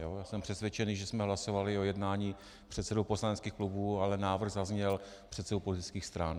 Já jsem přesvědčený, že jsme hlasovali o jednání předsedů poslaneckých klubů, ale návrh zazněl předsedů politických stran.